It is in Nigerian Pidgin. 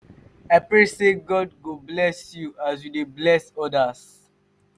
i pray sey god go bless you as you dey bless odas.